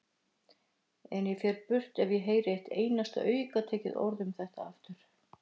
En ég fer burt ef ég heyri eitt einasta aukatekið orð um þetta aftur.